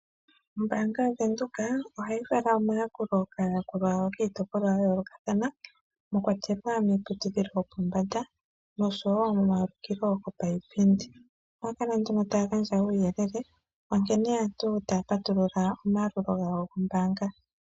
Ombaanga yaWindhoek ohayi fala omayakulo kaayakulwa yawo kiitopolwa ya yoolokathana, mwa kwatelwa iiputudhilo yopombanda, oshowo pomawulikilo giipindi. Ohaya kala nduno taya gandja omauyelele ga nkene aantu ye na okupatulula omayakulo gawo gombaanga.